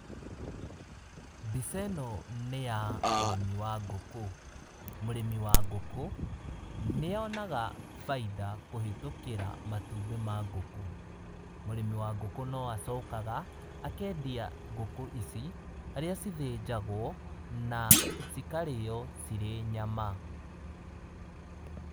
Mbica ĩno nĩya ũrĩmi wa ngũkũ. Mũrĩmi wa ngũkũ, nĩonaga bainda kũhĩtũkĩra matumbĩ ma ngũkũ. Mũrĩmi wa ngũkũ no acokaga, akendia ngũkũ ici, harĩa cithĩnjagwo, na cikarĩo cirĩ nyama.